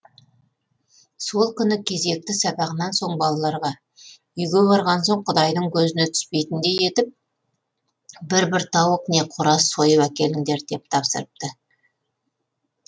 сол күні кезекті сабағынан соң балаларға үйге барған соң құдайдың көзіне түспейтіндей етіп бір бір тауық не қораз сойып әкеліңдер деп тапсырыпты